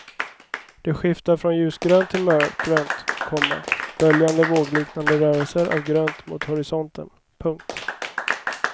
Det skiftar från ljusgrönt till mörkgrönt, komma böljande vågliknande rörelser av grönt mot horisonten. punkt